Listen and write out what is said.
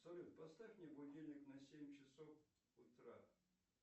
салют поставь мне будильник на семь часов утра